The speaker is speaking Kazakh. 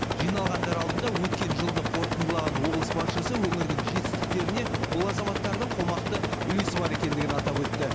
жиналғандар алдында өткен жылды қорытындылаған облыс басшысы өңірдің жетістіктеріне бұл азаматтардың қомақты үлесі бар екендігін атап өтті